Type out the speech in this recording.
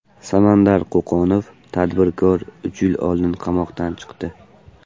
Samandar Qo‘qonov, tadbirkor, uch yil oldin qamoqdan chiqdi.